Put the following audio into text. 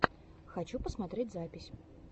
хочу посмотреть записи